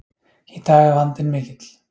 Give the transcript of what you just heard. Í dag er vandinn mikill.